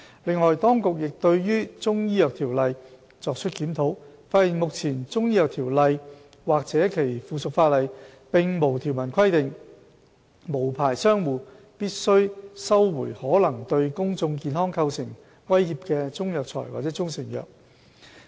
另外，當局亦對《條例》作出檢討，發現目前《條例》或其附屬法例並無條文規定，無牌商戶必須收回可能對公眾健康構成威脅的中藥材或中成藥。